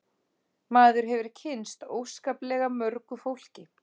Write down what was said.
Maður hefur kynnst óskaplega mörgu fólki